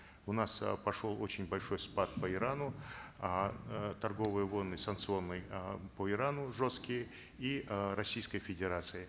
у нас э пошел очень большой спад по ирану эээ торговые волны санкционные э по ирану жесткие и э российской федерации